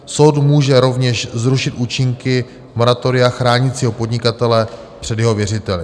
Soud může rovněž zrušit účinky moratoria chránícího podnikatele před jeho věřiteli.